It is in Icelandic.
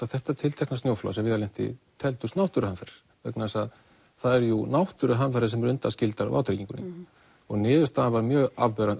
þetta tiltekna snjóflóð sem Viðar lenti í teldust náttúruhamfarir vegna þess að það eru jú náttúruhamfarir sem eru undanskildar vátryggingunni niðurstaðan var mjög afgerandi